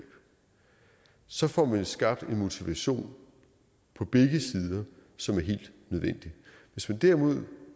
så får man skabt en motivation på begge sider som er helt nødvendig hvis vi derimod